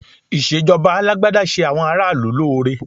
Ìṣèjọba Alágbádá ṣe àwọn ará ìlú lóore